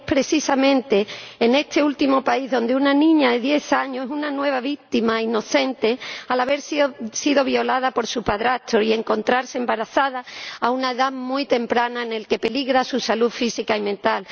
Y es precisamente en este último país donde una niña de diez años se convierte en una nueva víctima inocente, al haber sido violada por su padrastro y encontrarse embarazada a una edad muy temprana en la que peligra su salud física y mental.